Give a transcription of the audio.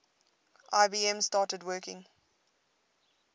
ibm started working